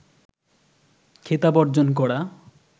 খেতাব অর্জন করা